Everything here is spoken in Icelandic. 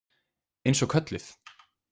Eins og kölluð.